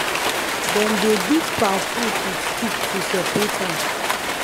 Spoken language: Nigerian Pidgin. dem dey beat palm fruit with stick to separate am